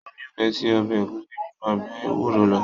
Mo nifẹ sí ọbẹ ẹ̀gúsí jù ọbẹ ewúro lọ.